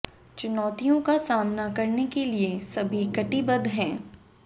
चुनौतियों का सामना करने के लिए सभी कटिबद्ध हैं